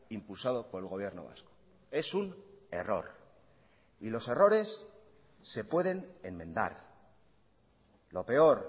impulsado por el gobierno vasco es un error y los errores se pueden enmendar lo peor